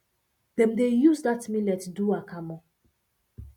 dem dey use dat millet do akamu